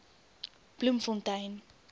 bloemfontein